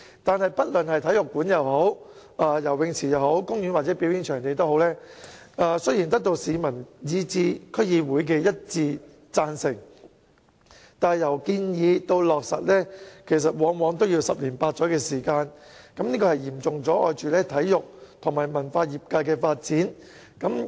可是，不論是體育館、游泳池、公園或表演場地，雖然得到市民以至區議會的一致贊成，但由建議至落實往往需要十年八載，會嚴重阻礙體育與文化業界的發展。